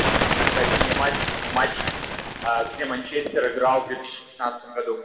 найди мне матч где манчестер играл в две тысячи пятнадцатом году